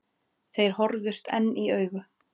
Þeir horfðust enn í augu.